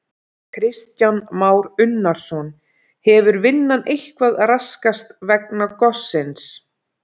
Kristján Már Unnarsson: Hefur vinnan eitthvað raskast vegna gossins?